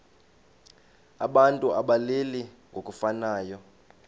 abantu abalili ngokufanayo